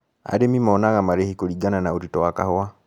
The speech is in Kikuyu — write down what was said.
Arĩmi monaga marĩhi kũringana na ũritũ wa kahua.